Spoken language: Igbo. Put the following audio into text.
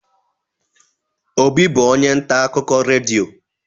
Obi bụ onye nta akụkọ redio.